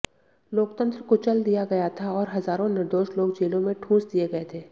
लोकतंत्र कुचल दिया गया था और हजारों निर्दोष लोग जेलों में ठूंस दिए गए थे